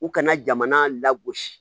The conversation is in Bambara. U kana jamana lagosi